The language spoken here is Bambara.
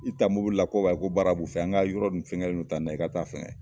I ta mobili la ko wayi ko baara b'u fɛ yan an ka yɔrɔ ni fɛnkɛ le don tan na i ka taa fɛngɛ